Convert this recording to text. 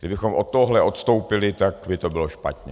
Kdybychom od tohoto odstoupili, tak by to bylo špatně.